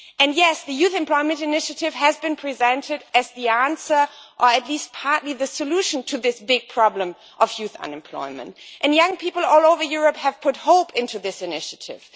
Yes, the Youth Employment Initiative has been presented as the answer, or at least partly the solution to this big problem of youth unemployment, and young people all over Europe have put their hopes into this initiative.